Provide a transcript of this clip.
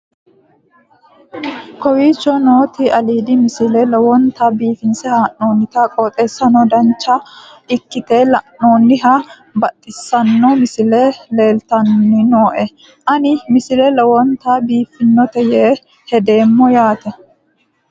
kowicho nooti aliidi misile lowonta biifinse haa'noonniti qooxeessano dancha ikkite la'annohano baxissanno misile leeltanni nooe ini misile lowonta biifffinnote yee hedeemmo yaate